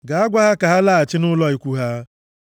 “Gaa, gwa ha ka ha laghachi nʼụlọ ikwu ha.